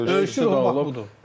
Döyüşçü doğulub.